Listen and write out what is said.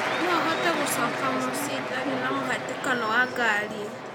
no hote gũcoka mũciĩitarĩna mũhatĩkano wa ngari